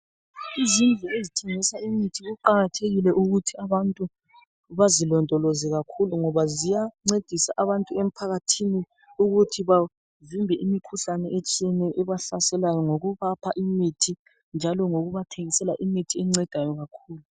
Izindlu ezithengisa imithi kuqakathekile ukuthi abantu bazilondoloze ngoba ziyancedisa abantu emphakathini ukuthi bavimbe imikhuhlane etshiyeneyo ebahlaselayo ngokubapha imithi njalo ngokubathengisela imithi ebancedayo kakhulu.